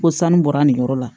Ko sanu bɔra nin yɔrɔ la